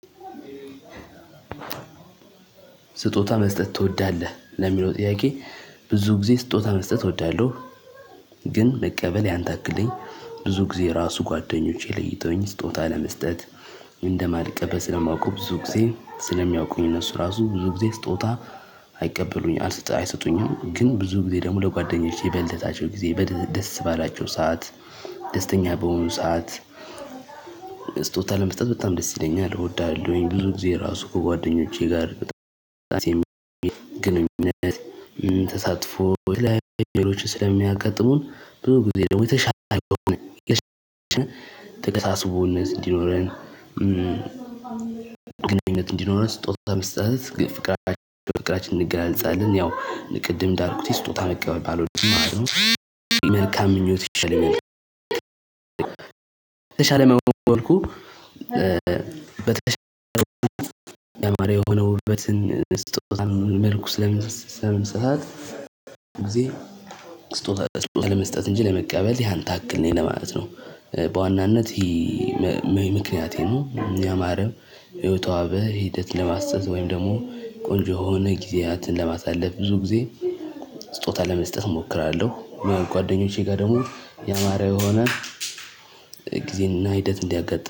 ስጦታ መስጠት ትወዳለህ ለሚለው ጥያቄ ብዙ ጊዜ ስጦታ መስጠት እወዳለሁ። ግን መቀበል ያንታክለኝ ብዙ ጊዜ ራሱ ጓደኞቼ ለይተውኝ ስጦታ ለመስጠት እንደማልቀበል ስለማውቀው ብዙ ጊዜ ስለሚያውቁኝ እነሱ ራሱ ብዙ ጊዜ ስጦታ። አይቀበሉኝም አይሰጡኝም ግን ብዙ ጊዜ ደግሞ ለጓደኞቼ በልደታቸው ጊዜ ደስ ባላቸው ሰዓት ደስተኛ በሆኑ ሰዓት። ስጦታ ለመስጠት በጣም ደስ ይለኛል እወዳለሁኝ። ብዙ ጊዜ ራሱ ከጓደኞቼ ጋር የራሴን ግንኙነት ተሳትፎ ሌሎች ስለሚያጋጥሙን ብዙ ጊዜ ደግሞ የተሻለ አይሆንም። ተግባቦነት እንዲኖረን ግንኙነት እንዲኖረን ስጦታ መስጠት ፍቅራችንን እንገላለጻለን። ያው ቅድም እንደልኩት ስጦታ መቀበል ባለውድም ማለት ነው። መልካም ምኞት እንሻለን። ተሻለ መሆን ወልኩ በተሻለ መሆን የሆነውበትን ስጦታ መልኩ ስለምንሳሳት ግዜ ስጦታ ለመስጠት እንጂ ለመቀበል ያን ያክል ነኝ ለማለት ነው። በዋናነት ይሄ የሚያማርም የተዋበ ሂደት ለማሳዘዝ ወይም ደግሞ ቆንጆ የሆነ ጊዜያትን ለማሳለፍ ብዙ ጊዜ ስጦታ ለመስጠት እሞክራለሁ። ጓደኞቼ ጋር ደግሞ የአማረ የሆነ ጊዜና ሂደት እንዲያጋጥም